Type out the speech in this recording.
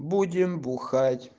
будем бухать